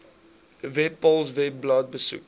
webpals webblad besoek